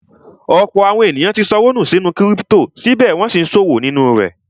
Ọ̀pọ̀ àwọn èèyàn tí ṣọwọ́ nù sínú kírípítò, síbẹ̀ wọ́n n sí ṣòwò nínú rẹ̀